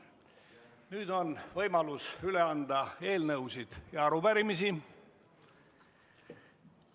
Nüüd on võimalus üle anda eelnõusid ja arupärimisi.